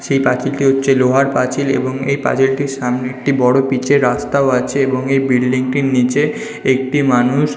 সেই পাঁচিলটি হচ্ছে লোহার পাঁচিল এবং এই পাঁচিলটির সামনে একটি বড় পিচের রাস্তা ও আছে এবং এই বিল্ডিংটির নিচে একটি মানুষ--